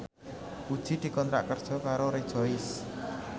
Puji dikontrak kerja karo Rejoice